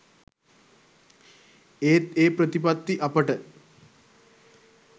ඒත් ඒ ප්‍රතිපත්ති අපට